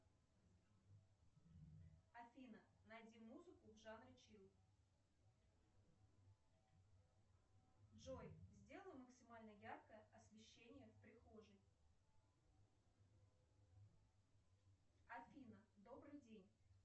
афина найди музыку в жанре чилл джой сделай максимально яркое освещение в прихожей афина добрый день